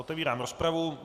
Otevírám rozpravu.